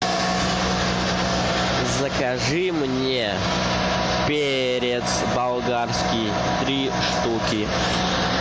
закажи мне перец болгарский три штуки